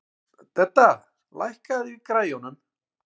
Dedda, lækkaðu í græjunum.